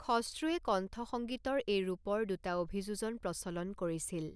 খশ্ৰুৱে কণ্ঠ সংগীতৰ এই ৰূপৰ দুটা অভিযোজন প্ৰচলন কৰিছিল।